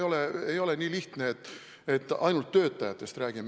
See ei ole nii lihtne, et ainult töötajatest on jutt.